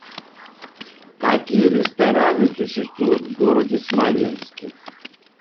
какие рестораны существуют в городе смоленске